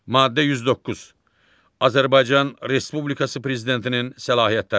Maddə 109. Azərbaycan Respublikası prezidentinin səlahiyyətləri.